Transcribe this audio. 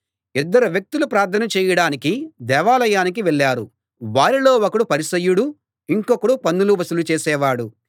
ఇద్దరు వ్యక్తులు ప్రార్థన చేయడానికి దేవాలయానికి వెళ్ళారు వారిలో ఒకడు పరిసయ్యుడు ఇంకొకడు పన్నులు వసూలు చేసే వాడు